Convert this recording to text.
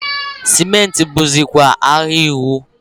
sịmentị bụzịkwa ahịa iwu.